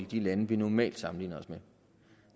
de lande vi normalt sammenligner os med